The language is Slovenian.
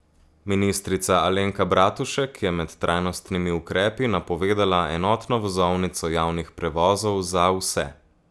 Ministrica Alenka Bratušek je med trajnostnimi ukrepi napovedala enotno vozovnico javnih prevozov za vse.